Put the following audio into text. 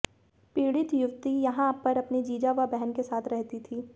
पीडि़त युवती यहां पर अपने जीजा व बहन के साथ रहती थी